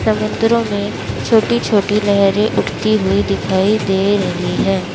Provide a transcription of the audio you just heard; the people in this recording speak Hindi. समुद्रों में छोटी छोटी लहरें उठती हुई दिखाई दे रही है।